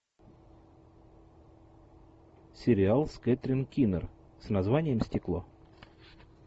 сериал с кэтрин кинер с названием стекло